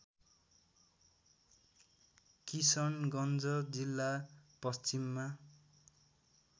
किशनगञ्ज जिल्ला पश्चिममा